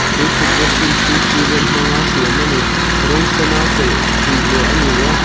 chu thutna thin chu cement hmanga siam a ni rawng sena chei tih leh ani a.